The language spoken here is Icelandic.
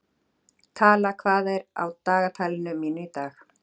Tala, hvað er á dagatalinu mínu í dag?